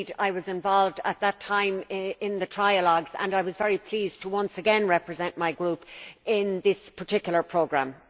I was involved at that time in the trialogues, and I was very pleased to once again represent my Group in this particular programme.